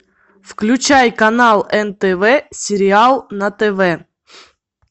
включай канал нтв сериал на тв